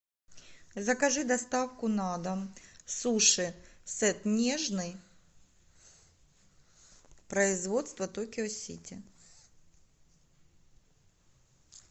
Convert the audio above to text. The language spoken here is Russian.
закажи доставку на дом суши сет нежный производство токио сити